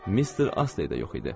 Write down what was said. Mister Astney də yox idi.